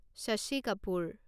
Shashi Kapoor